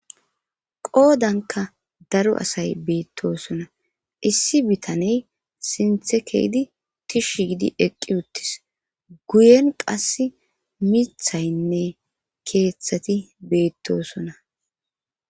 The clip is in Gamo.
qoodanka daro asay beettosona issi bitaney sinthe keydi tishsh gidi eqqi uttis guyen qass mithaynne keeththati beettosona